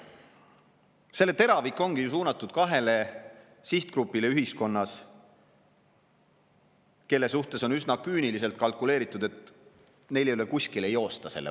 Selle teravik ongi ju suunatud kahele sihtgrupile ühiskonnas, kelle puhul on üsna küüniliselt kalkuleeritud, et neil ei ole selle maksu eest kusagile joosta.